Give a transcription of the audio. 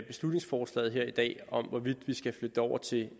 beslutningsforslaget her i dag om hvorvidt vi skal flytte det over til